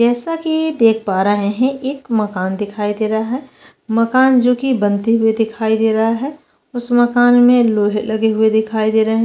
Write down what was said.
जैसा कि देख पा रहे है एक मकान दिखाई दे रहा है मकान जो कि बनते हुए दिखाई दे रहा है उस मकान में लोहे लगे हुए दिखाई दे रहे-